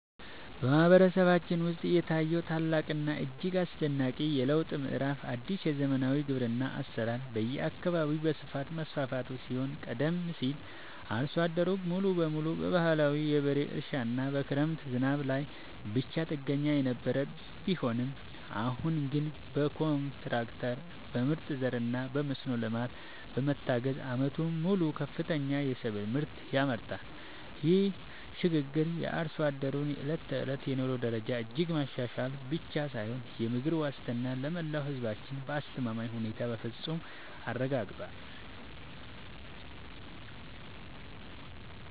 በማህበረሰባችን ውስጥ የታየው ታላቅና እጅግ አስደናቂ የለውጥ ምዕራፍ አዲስ የዘመናዊ ግብርና አሰራር በየአካባቢው በስፋት መስፋፋቱ ሲሆን ቀደም ሲል አርሶ አደሩ ሙሉ በሙሉ በባህላዊ የበሬ እርሻና በክረምት ዝናብ ላይ ብቻ ጥገኛ የነበረ ቢሆንም አሁን ግን በትራክተር፣ በምርጥ ዘርና በመስኖ ልማት በመታገዝ ዓመቱን ሙሉ ከፍተኛ የሰብል ምርት ያመርታል። ይህ ሽግግር የአርሶ አደሩን የዕለት ተዕለት የኑሮ ደረጃ እጅግ ማሻሻል ብቻ ሳይሆን የምግብ ዋስትናን ለመላው ህዝባችን በአስተማማኝ ሁኔታ በፍፁም አረጋግጧል።